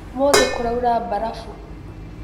ũmũthĩ kũraura mbarabu.